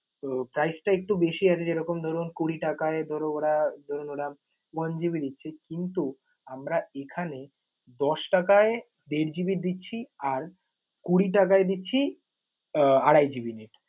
তো price টা একটু বেশি আছে ধরুন যেমন কুড়ি টাকায় ধরুন ওরা ধরুন ওরা one GB দিচ্ছে কিন্তু আমরা এইখানে দশ টাকায় দেড় GB দিচ্ছি আর কুড়ি টাকায় দিচ্ছি আহ আড়াই GB net ।